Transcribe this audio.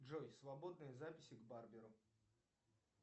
джой свободные записи к барберу